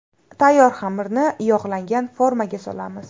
Tayyor xamirni yog‘langan formaga solamiz.